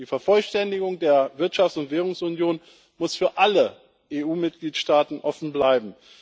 Die Vervollständigung der Wirtschafts und Währungsunion muss für alle EU Mitgliedstaaten offen bleiben.